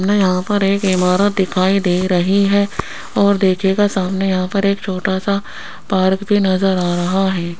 हमें यहां पर एक इमारत दिखाई दे रही है और देखिएगा सामने यहां पर एक छोटा सा पार्क भी नजर आ रहा है।